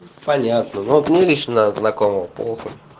понятно но мне лично знакома плохо